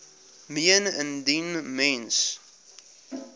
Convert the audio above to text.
meen indien mens